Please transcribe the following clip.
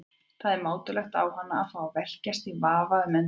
Það er mátulegt á hana að fá að velkjast í vafa um endurfundi.